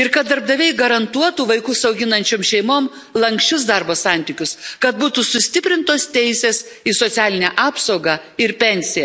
ir kad darbdaviai garantuotų vaikus auginančioms šeimoms lanksčius darbo santykius, kad būtų sustiprintos teisės į socialinę apsaugą ir pensiją.